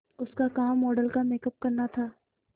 उसका काम मॉडल का मेकअप करना था